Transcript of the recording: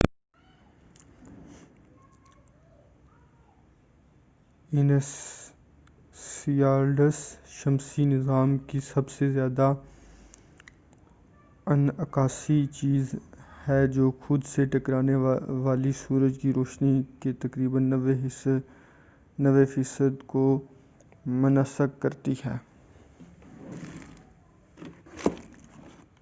Enceladus شمسی نظام کی سب سے زیادہ انعکاسی چیز ہے یہ خود سے ٹکرانے والی سورج کی روشنی کے تقریبا 90 فیصد کو منعکس کرتی ہے